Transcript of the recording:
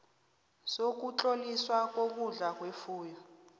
sokutloliswa kokudla kwefuyo